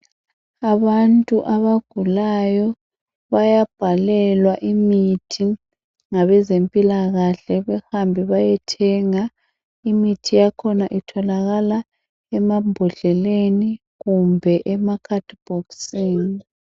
bayabhalelwa imithi ngabezempilakahle bahambe bayethanga imithi yakhona itholakala emambodleleni kumbe emakhadibhokisini